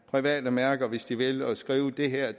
private mærker hvis de vil og skrive at det her